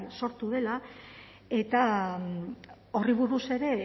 sortu dela eta horri buruz ere